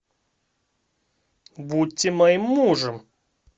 будьте моим мужем